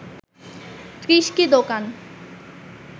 ৩০টি দোকান